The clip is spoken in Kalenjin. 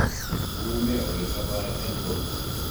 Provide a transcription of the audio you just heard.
Mangune ole chapai eng porto